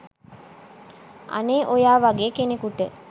අනේ ඔයා වගේ කෙනෙකුට